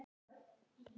Sækja að mér.